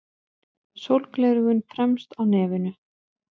Sólgleraugun fremst á nefinu.